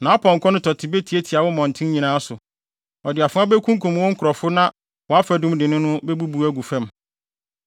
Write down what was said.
Nʼapɔnkɔ no tɔte betiatia wo mmɔnten nyinaa so, ɔde afoa bekunkum wo nkurɔfo na wʼafadum dennen no bebubu agu fam.